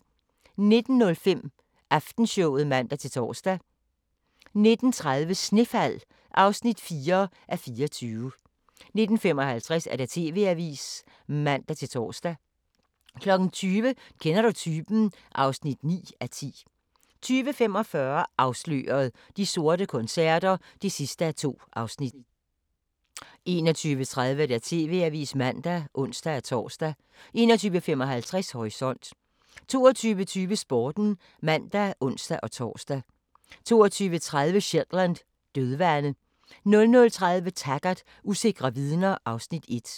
19:05: Aftenshowet (man-tor) 19:30: Snefald (4:24) 19:55: TV-avisen (man-tor) 20:00: Kender du typen? (9:10) 20:45: Afsløret – De sorte koncerter (2:2) 21:30: TV-avisen (man og ons-tor) 21:55: Horisont 22:20: Sporten (man og ons-tor) 22:30: Shetland: Dødvande 00:30: Taggart: Usikre vidner (Afs. 1)